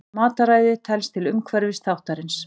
Mataræði telst til umhverfisþáttarins.